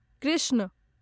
Krishna